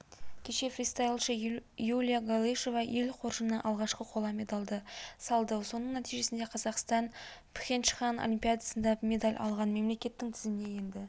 кеше фристайлшы юлия галышева ел қоржынына алғашқы қола медальды салды соның нәтижесінде қазақстан пхенчхан олимпиадасында медаль алған мемлекеттің тізіміне енді